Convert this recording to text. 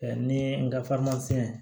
ni n ka